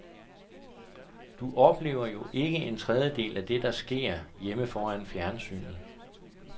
Du oplever jo ikke en tredjedel af alt det, der sker, hjemme foran fjernsynet.